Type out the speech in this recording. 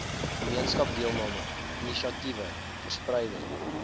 gemeenskapsdeelname inisiatiewe verspreiding